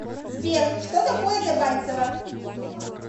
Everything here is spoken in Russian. сбер что такое дебальцево